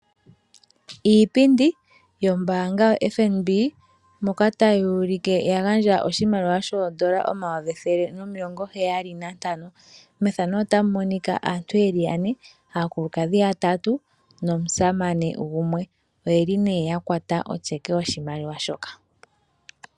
Iipundi yombanga yoFNB moka tayi ulike ya gandja oshimaliwa shoodollar omayovi ethele nomilongo heyali nantano. Mefano otamu monika aantu yeli yane, aakulukadhi yatatu nomusamane gumwe. Oyeli ne yakwata otyeke yoshimaliwa shoka.